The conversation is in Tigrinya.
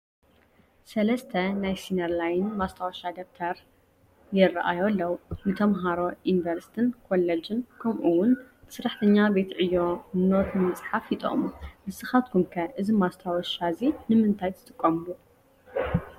3 ናይ ሲነር ላይን ማስታወቫ ደብተር ይራኣዩ ኣለው፡፡ ንተመሃሮ ዩኒቨርስትን ኮሌጅን ከምኡ ውን ንሰራሕተኛ ቤት ዕዮ ኖት ንምስፀሓፍ ይጠቕሙ፡፡ ንስኻትኩም ከ እዚ ማስታወቫ እዚ ንምንታይ ትጥቀምሉ?